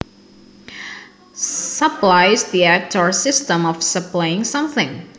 Supply is the act or system of supplying something